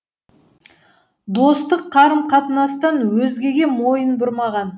достық қарым қатынастан өзгеге мойын бұрмаған